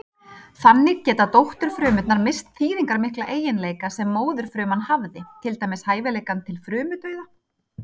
Þannig geta dótturfrumurnar misst þýðingarmikla eiginleika sem móðurfruman hafði, til dæmis hæfileikann til frumudauða.